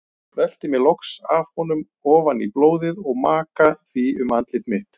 Velti mér loks af honum ofan í blóðið og maka því um andlit mitt.